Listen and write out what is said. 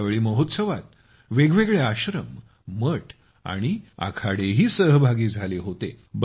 यावेळी महोत्सवात वेगवेगळे आश्रम मठ आणि आखाडेही सहभागी झाले होते